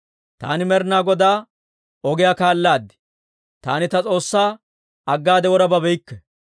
Taani Med'inaa Godaa ogiyaa kaalaad; taani ta S'oossaa aggaade wora babeykke.